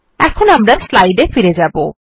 এখন আমরা স্লাইড এ আবার ফিরে যাব